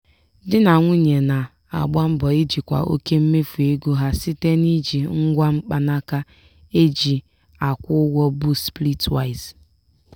di na nwunye na-agba mbọ ijikwa oke mmefu ego ha site n'iji ngwa mkpanaka e ji akwụ ụgwọ bụ splitwise.